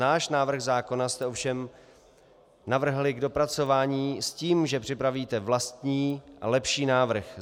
Náš návrh zákona jste ovšem navrhli k dopracování s tím, že připravíte vlastní a lepší návrh.